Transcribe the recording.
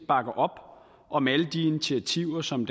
bakker op om alle de initiativer som